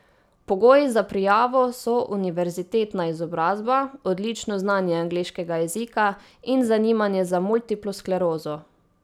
Pogoji za prijavo so univerzitetna izobrazba, odlično znanje angleškega jezika in zanimanje za multiplo sklerozo.